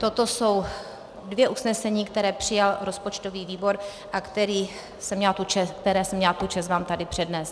Toto jsou dvě usnesení, která přijal rozpočtový výbor a která jsem měla tu čest vám tady přednést.